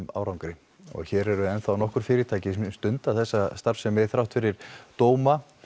árangri hér eru ennþá nokkur fyrirtæki sem stunda þessa starfsemi þrátt fyrir dóma